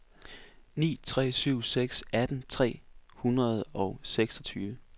ni tre syv seks atten tre hundrede og seksogtyve